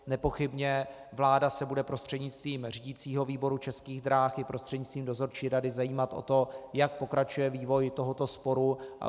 Nepochybně vláda se bude prostřednictvím řídicího výboru Českých drah i prostřednictvím dozorčí rady zajímat o to, jak pokračuje vývoj tohoto sporu.